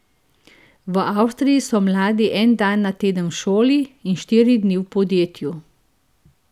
V Avstriji so mladi en dan na teden v šoli in štiri dni v podjetju.